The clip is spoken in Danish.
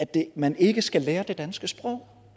at man ikke skal lære det danske sprog